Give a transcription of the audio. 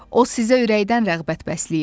O sizə ürəkdən rəğbət bəsləyir.